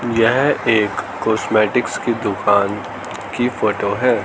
यह एक कॉस्मेटिकस की दुकान की फोटो है।